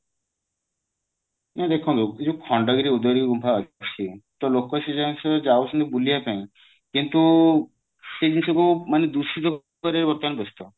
ନଇଁ ଦେଖନ୍ତୁ ଏଇ ଯୋଉ ଖଣ୍ଡଗିରୀ ଉଦୟଗିରୀ ଗୁମ୍ଫା ଅଛି ତ ଲୋକ ସେ ଯୋଉ ଯାଉଛନ୍ତି ସେ ଯୋଉ ବୁଲିବା ପାଇଁ କିନ୍ତୁ ସେ ଜିନିଷ କୁ ମାନେ ଦୂଷିତ କରିବା ପାଇଁ ସେ ବ୍ୟସ୍ତ